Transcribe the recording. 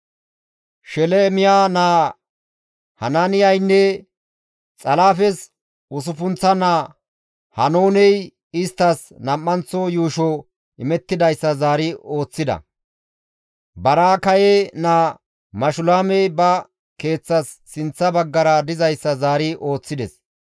Shelemiya naa Hanaaniyaynne Xalaafes usuppunththa naa Haanooney isttas nam7anththo yuusho imettidayssa zaari ooththida. Baraakaye naa Mashulaamey ba keeththas sinththa baggara dizayssa zaari ooththides.